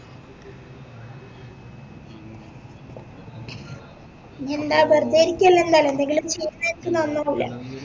ഇ്ജെന്ത ബെർതെ ഇരിക്കല്ലേ ന്തായാലും ന്തെങ്കിലു നന്നാവൂലെ